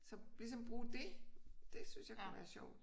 Så ligesom bruge det det synes jeg kunne være sjovt